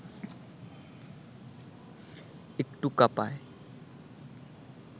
একটু কাঁপায়